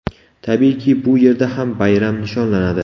Tabiiyki, bu yerda ham bayram nishonlanadi.